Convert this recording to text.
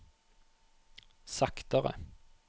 saktere